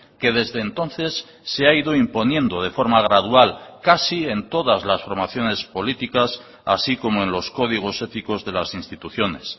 que desde entonces se ha ido imponiendo de forma gradual casi en todas las formaciones políticas así como en los códigos éticos de las instituciones